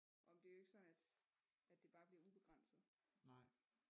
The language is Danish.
Åh men det er jo ikke sådan at det bare bliver ubegrænset